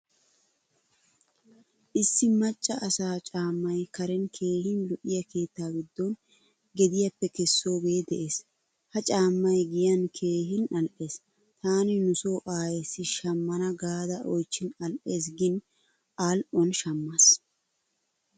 Issi maccaa asaa caamay karen keehin lo'iyaa keettaa giddon gediyappe kessoge de'ees. Ha caamay giyan keehin al'ees. Taani nuso aayesi shamana gaada oychchin al'ees gin al'uwan shamaas.